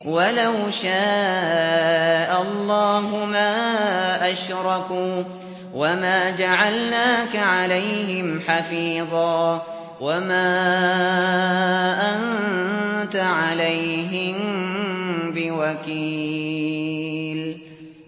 وَلَوْ شَاءَ اللَّهُ مَا أَشْرَكُوا ۗ وَمَا جَعَلْنَاكَ عَلَيْهِمْ حَفِيظًا ۖ وَمَا أَنتَ عَلَيْهِم بِوَكِيلٍ